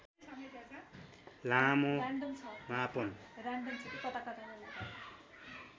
लामो मापन